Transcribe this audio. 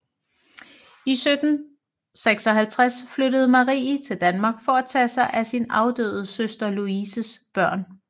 I 1756 flyttede Marie til Danmark for at tage sig af sin afdøde søster Louises børn